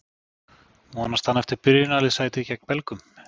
Vonast hann eftir byrjunarliðssæti gegn Belgum?